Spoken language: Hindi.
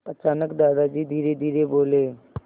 अचानक दादाजी धीरेधीरे बोले